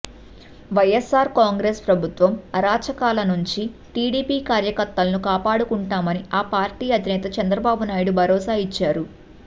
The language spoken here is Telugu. వైఎస్ఆర్ కాంగ్రెస్ ప్రభుత్వం అరాచకాల నుంచి టీడీపీ కార్యకర్తలను కాపాడుకుంటామని ఆ పార్టీ అధినేత చంద్రబాబునాయుడు భరోసా ఇచ్చారు